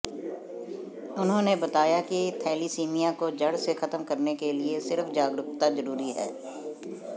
उन्होंने बताया कि थैलीसीमिया को जड़ से खत्म करने के लिए सिर्फ जागरूकता जरूरी है